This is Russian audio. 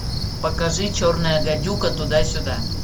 покажи черная гадюка туда сюда